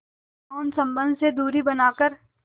यौन संबंध से दूरी बनाकर